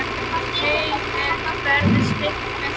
Heimild verði stytt með lögum